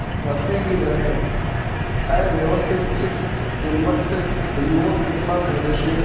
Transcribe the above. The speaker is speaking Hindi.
पड़ते ही वह अव्यवस्थितचित्त उन्मत्त युवक कितना धैर्यशील